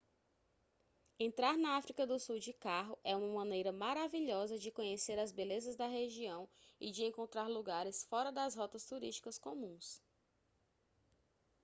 entrar na áfrica do sul de carro é uma maneira maravilhosa de conhecer as belezas da região e de encontrar lugares fora das rotas turísticas comuns